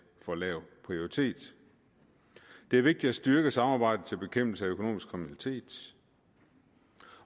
for lav prioritet det er vigtigt at styrke samarbejdet til bekæmpelse af økonomisk kriminalitet